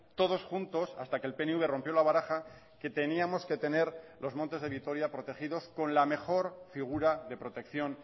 todos juntos hasta que el pnv rompió la baraja que teníamos que tener los montes de vitoria protegidos con la mejor figura de protección